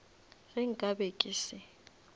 ge nka be ke se